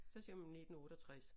Så siger man 19 68